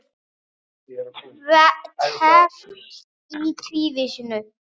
Teflt í tvísýnu